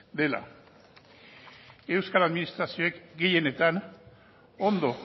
dela euskal administrazioek gehienetan ondo